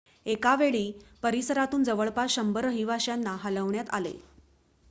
एकावेळी परिसरातून जवळपास १०० रहिवाश्यांना हलवण्यात आले